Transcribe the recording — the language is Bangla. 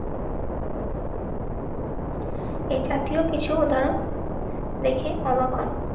এই জাতীয় কিছু উদাহরণ. দেখে অবাক হন.